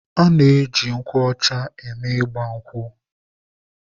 A na-eji nkwụ ọcha eme ịgba nkwụ.